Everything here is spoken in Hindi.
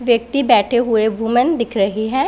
व्यक्ति बैठे हुए वूमेन दिख रही है।